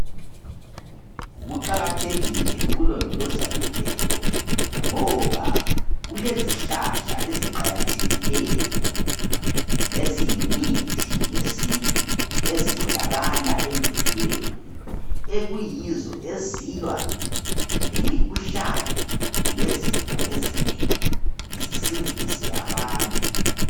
Kuqakathekile ukulondoloza imvelo ngoba kulezihlahla eziqakathekileyo eziyimithi ye sintu ezitholakala emvelweni ekuyizo ezilwa kemikhuhlane lezifo ezinengi zisidise abantu .